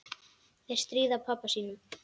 Þeir stríða pabba sínum.